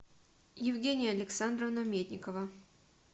евгения александровна медникова